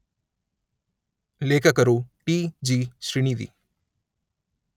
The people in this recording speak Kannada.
ಲೇಖಕರು ಟಿ_letter ಜಿ_letter ಶ್ರೀನಿಧಿ.